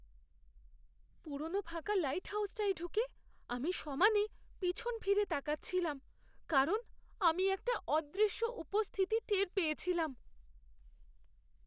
পুরনো ফাঁকা লাইটহাউজটায় ঢুকে আমি সমানে পিছন ফিরে তাকাচ্ছিলাম কারণ আমি একটা অদৃশ্য উপস্থিতি টের পেয়েছিলাম।